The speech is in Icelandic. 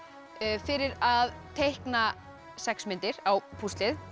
fyrir að teikna sex myndir á púslið